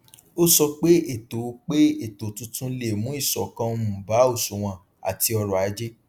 ó sọ pé ètò pé ètò tuntun lè mú ìṣọkan um bá òṣùwòn àti ọrọajé